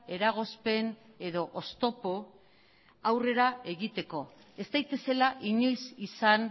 eragozpen edo oztopo aurrera egiteko ez daitezela inoiz izan